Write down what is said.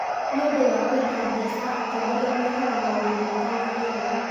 Nĩũndũ wa kwenda mbeca atongoria meekaga maũndũ mataagĩrĩire